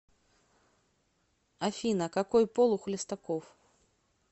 афина какой пол у хлестаков